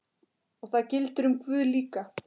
Og það gildir um guð líka.